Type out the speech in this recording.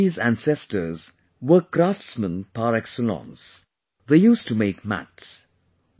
Santosh ji's ancestors were craftsmen par excellence ; they used to make mats